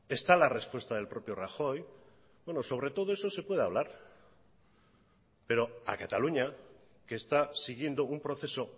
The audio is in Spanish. está la respuesta del propio rajoy sobre todo eso se puede hablar pero a cataluña que está siguiendo un proceso